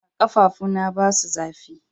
Aa, kafafu na ba su zafi.